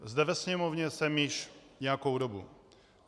Zde ve Sněmovně jsem již nějakou dobu.